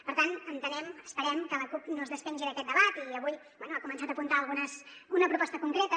per tant entenem esperem que la cup no es despengi d’aquest debat i avui bé ha començat a apuntar una proposta concreta